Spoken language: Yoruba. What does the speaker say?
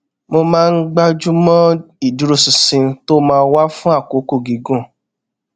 mo máa ń gbájú mọ ìdúróṣinṣin tó máa wà fún àkókò gígùn